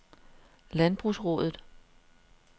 Landbrugsraadet